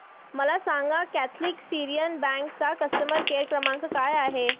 मला सांगाना Catholic Syrian bank चा कस्टमर केअर क्रमांक काय आहे